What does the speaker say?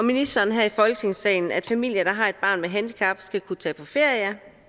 og ministeren her i folketingssalen at familier der har et barn med et handicap skal kunne tage på ferier